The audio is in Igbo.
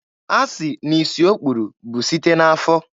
Asị na isi o kpuru bụ site n'afọ.